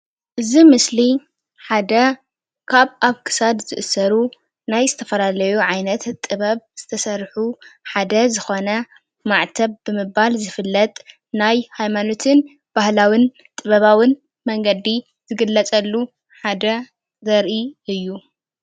እዚ ምስሊ ሓደ ካብ ኣብ ክሳድ ዝእሰሩ ናይ ዝተፈላለዩ ዓይነት ጥበብ ዝተሰርሑ ሓደ ዝኮነ ማዕተብ ብምባል ዝፍለጥ ናይ ሃይማኖትን ባህላዉን ጥበባዉን መንገዲ ዝግለፀሉ ሓደ ዘርኢ እዩ ።